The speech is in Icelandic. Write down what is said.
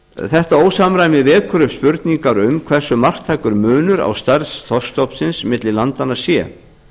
þetta ósamræmi vekur upp spurningar um hversu marktækur munur á stærð þorskstofnsins milli landanna sé